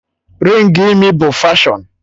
Rịng imi bụ fashọn